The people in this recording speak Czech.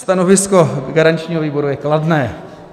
Stanovisko garančního výboru je kladné.